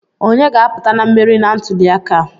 Onye ga-aputa na mmeri na ntuli aka a?